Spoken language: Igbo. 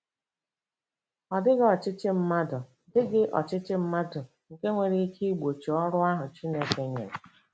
Ọ dịghị ọchịchị mmadụ dịghị ọchịchị mmadụ nke nwere ikike igbochi ọrụ ahụ Chineke nyere.